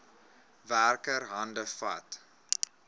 werker hande vat